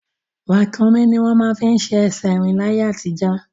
Ràkúnmí ni wọ́n máa ń fi ṣe ẹsẹ̀ rín ní ayé àtijọ́